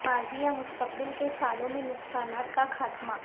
ماضی یا مستقبل کے سالوں میں نقصانات کا خاتمہ